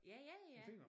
Ja ja ja ja